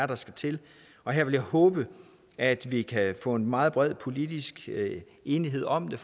der skal til her vil jeg håbe at vi kan få en meget bred politisk enighed om det